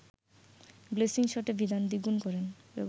placing শটে ব্যবধান দ্বিগুন করেন